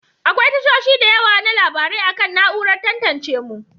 Akwai tashoshi da yawa na labarai akan na'urar tantance mu.